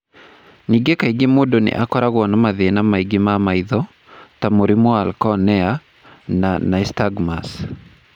Ningĩ kaingĩ mũndũ nĩ akoragwo na mathĩna mangĩ ma maitho, ta mũrimũ wa cornea na nystagmus.